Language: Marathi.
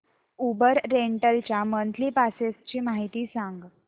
उबर रेंटल च्या मंथली पासेस ची माहिती सांग